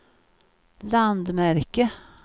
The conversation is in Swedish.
landmärke